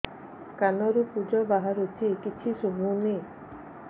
କାନରୁ ପୂଜ ବାହାରୁଛି କିଛି ଶୁଭୁନି